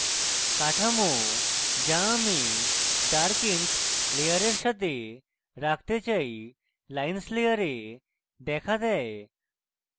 কাঠামো the আমি dark ink layer সাথে রাখতে চাই lines layer দেখা দেয়